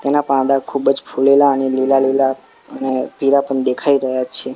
તેના પાંદા ખૂબજ ફુલેલા અને લીલા લીલા અને પીળા પણ દેખાય રહ્યા છે.